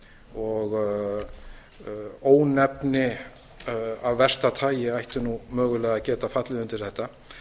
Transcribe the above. og ónefni af versta tagi ætti mögulega að geta fallið undir þetta